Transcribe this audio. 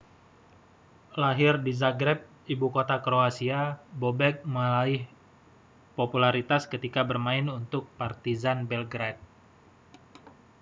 lahir di zagreb ibukota kroasia bobek meraih popularitas ketika bermain untuk partizan belgrade